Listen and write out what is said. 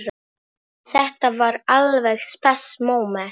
Þetta var alveg spes móment.